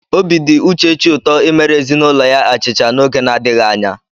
Obi dị Uchechi ụtọ imere ezinụlọ ya achịcha n'oge na-adịghị anya.